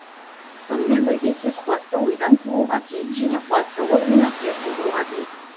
сонымен бірге сөз қуатты ойдан тууға тиіс және қуатты ой мен әсер тудыруға тиіс